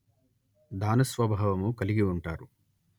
దానస్వభావము కలిగి ఉంటారు